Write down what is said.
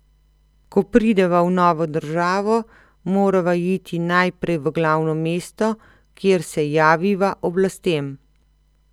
Ko prideva v novo državo, morava iti najprej v glavno mesto, kjer se javiva oblastem.